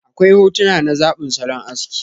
Akwai hotuna na zabin salon aski.